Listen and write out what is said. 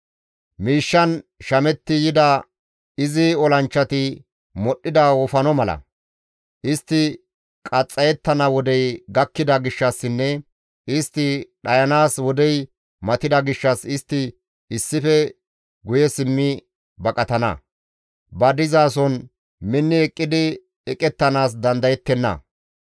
Miishshan shametti yida izi olanchchati modhdhida wofano mala. Istti qaxxayettana wodey gakkida gishshassinne istti dhayanaas wodey matida gishshas istti issife guye simmi baqatana; ba dizason minni eqqidi eqettanaas dandayettenna.